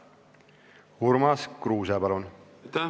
Urmas Kruuse, palun!